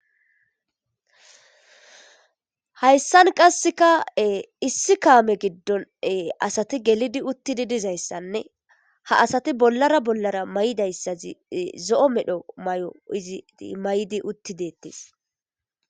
hayssan qasseka issi kaame giddon asati gelidi uttidi dizayssanne ha asati bollara bollara may7dayssazi zo7o medho may7o izii may7di uttidettis